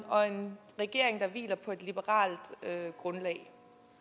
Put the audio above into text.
og en regering der hviler på et liberalt grundlag